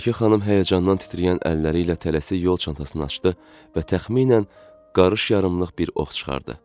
Mələkə xanım həyəcandan titrəyən əlləri ilə tələsik yol çantasını açdı və təxminən qarış yarımlıq bir ox çıxartdı.